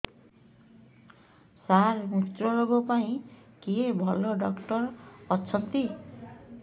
ସାର ମୁତ୍ରରୋଗ ପାଇଁ କିଏ ଭଲ ଡକ୍ଟର ଅଛନ୍ତି